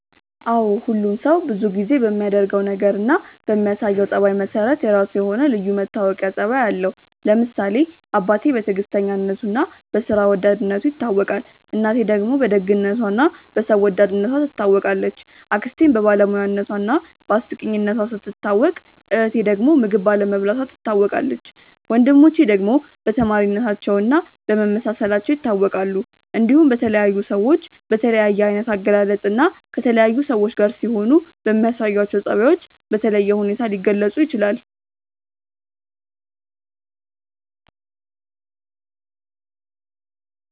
አዎ ሁሉም ሰው ብዙ ጊዜ በሚያደርገው ነገር እና በሚያሳየው ጸባይ መሰረት የራሱ የሆነ ልዩ መታወቂያ ጸባይ አለው። ለምሳሌ አባቴ በትዕግስተኝነቱ እና በስራ ወዳድነቱ ይታወቃል፣ እናቴ ደግሞ በደግነቷ እና በሰው ወዳድነቷ ትታወቃለች፣ አክስቴም በባለሙያነቷ እና በአስቂኝነቷ ስትታወቅ እህቴ ዳግም ምግብ ባለመብላቷ ትታወቃለች፣ ወንድሞቼ ደግሞ በተማሪነታቸው እና በመመሳሰላቸው ይታወቃሉ። እንዲሁም በተለያዩ ሰዎች በተለያየ አይነት አገላለጽ እና ከተለያዩ ሰዎች ጋር ሲሆኑ በሚያሳዩአቸው ጸባዮች በተለየ ሁኔታ ሊገለጹ ይችላል።